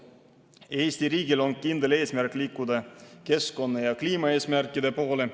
Eesti riigil on kindel eesmärk liikuda keskkonna‑ ja kliimaeesmärkide poole.